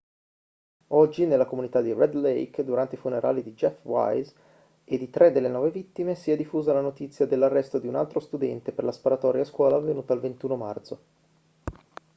oggi nella comunità di red lake durante i funerali di jeff weise e di tre delle nove vittime si è diffusa la notizia dell'arresto di un altro studente per la sparatoria a scuola avvenuta il 21 marzo